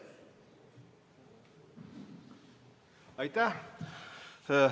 Aitäh!